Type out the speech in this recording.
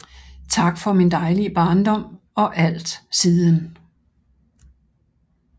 Tak for min dejlige Barndom og alt siden